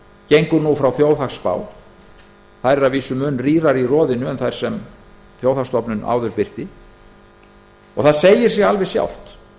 gengur nú frá þjóðhagsspám þær eru að vísu mun rýrari í roðinu en þær sem þjóðhagsstofnun birti áður og það segir sig sjálft